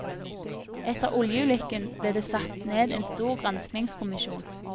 Etter oljeulykken ble det satt ned en stor granskningskommisjon.